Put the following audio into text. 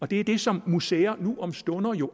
det er det som museer jo nu om stunder